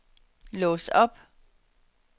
lås op